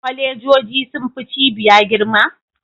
Kolejoji sun fi cibiya girma?